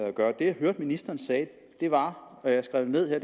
at gøre det jeg hørte ministeren sige var jeg skrev det ned her